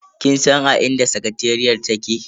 Kin san a inda sakateriyar take?